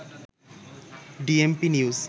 DMP news